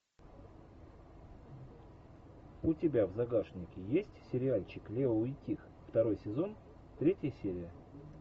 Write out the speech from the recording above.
у тебя в загашнике есть сериальчик лео и тиг второй сезон третья серия